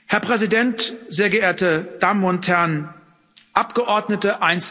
Herr Präsident, sehr geehrte Damen und Herren Abgeordnete!